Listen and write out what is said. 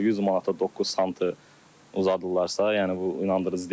100 manata 9 sm uzadırlarsa, yəni bu inandırıcı deyil.